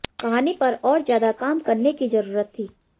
कहानी पर और ज्यादा काम करने की जरूरत थी